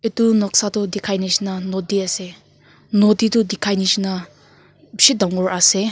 tu noksa tu tikai nishina noti ase noti tu tikai nishina bishi tangor ase.